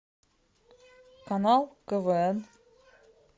канал квн